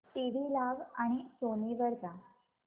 TV लाव आणि Sony वर जा